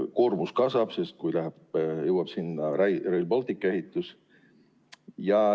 Koormus kasvab veelgi, kui sinna jõuab Rail Balticu ehitus.